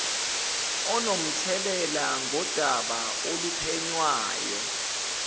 onomthelela ngodaba oluphenywayo